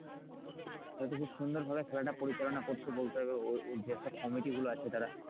তাহলে তো খুব সুন্দর ভাবে খেলাটা পরিচালনা করছো বলতে ওই যেসব কমিটি গুলো আছে তারা।